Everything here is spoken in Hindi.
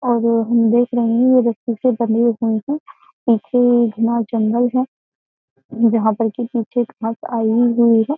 और हम देख रहे हैं ये रस्सी से बने हुए हैं पीछे घना जंगल है जहाँ पर कि पीछे खास आई हुई है।